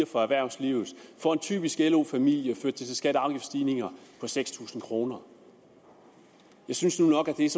for erhvervslivet og for en typisk lo familie førte det til skatte og afgiftsstigninger på seks tusind kroner jeg synes nu nok at det er